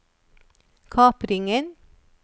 kapringen